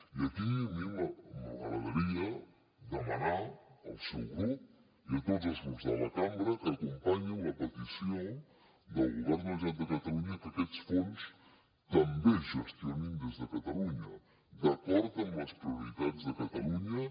i aquí m’agradaria demanar al seu grup i a tots els grups de la cambra que acompanyin la petició del govern de la generalitat de catalunya que aquests fons també es gestionin des de catalunya d’acord amb les prioritats de catalunya